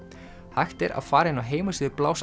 hægt er að fara inn á heimasíðu